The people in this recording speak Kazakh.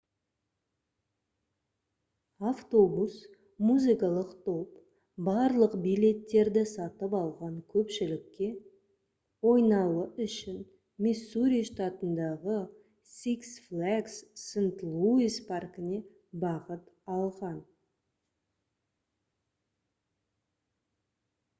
автобус музыкалық топ барлық билеттерді сатып алған көпшілікке ойнауы үшін миссури штатындағы six flags st louis паркіне бағыт алған